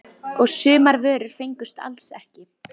Og sumar vörur fengust alls ekki.